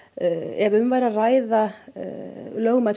ef um væri að ræða lögmæt